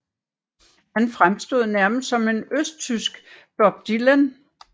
Han fremstod nærmest som en østtysk Bob Dylan